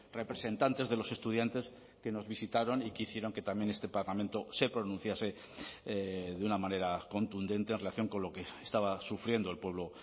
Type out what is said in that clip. representantes de los estudiantes que nos visitaron y que hicieron que también este parlamento se pronunciase de una manera contundente en relación con lo que estaba sufriendo el pueblo